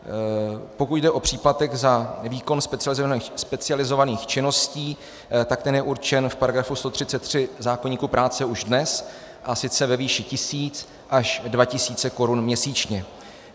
Pokud jde o příplatek za výkon specializovaných činností, tak ten je určen v § 133 zákoníku práce už dnes, a sice ve výši tisíc až dva tisíce korun měsíčně.